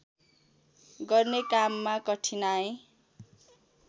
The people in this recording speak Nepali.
गर्ने काममा कठिनाइ